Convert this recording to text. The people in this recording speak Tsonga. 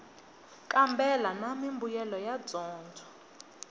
kambela na mimbuyelo ya dyondzo